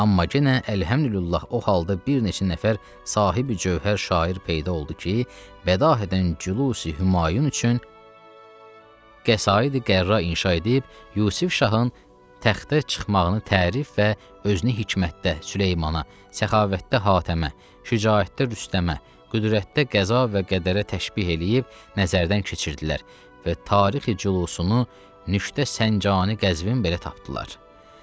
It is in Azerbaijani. Amma yenə əlhəmdülillah o halda bir neçə nəfər sahibi-cövhər şair peyda oldu ki, bədahədən cülusi-Hümayun üçün qəsaid-qərra inşa edib Yusif şahın təxtə çıxmağını tərif və özünü hikmətdə Süleymana, səxavətdə Hatəmə, şücaətdə Rüstəmə, qüdrətdə qəza və qədərə təşbih eləyib, nəzərdən keçirtdilər və tarixi-cülusunu Nüşdə Səncane-Qəzvin belə tapdılar.